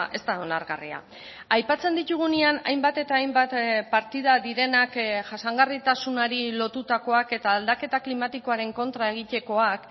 ez da onargarria aipatzen ditugunean hainbat eta hainbat partida direnak jasangarritasunari lotutakoak eta aldaketa klimatikoaren kontra egitekoak